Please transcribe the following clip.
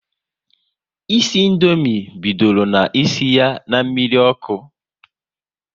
Isi Indomie bidoro na isi ya na mmiri ọkụ